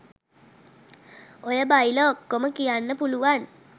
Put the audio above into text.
ඔය බයිල ඔක්කොම කියන්න පුළුවන්